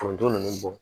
Foronto ninnu bɔ